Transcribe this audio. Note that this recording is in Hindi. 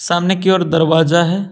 सामने की ओर दरवाजा है।